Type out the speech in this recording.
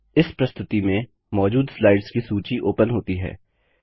इस प्रस्तुति में मौजूद स्लाइड्स की सूची ओपन होती है